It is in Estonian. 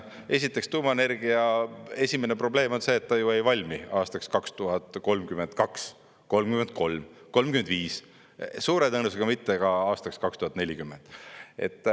Esiteks, tuumaenergia esimene probleem on see, et ta ju ei valmi aastaks 2032, 2033, 2035 ega suure tõenäosusega mitte ka aastaks 2040.